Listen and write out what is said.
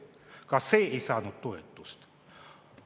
Ka see ei saanud toetust.